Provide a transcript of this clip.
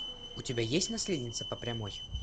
у тебя есть наследница по прямой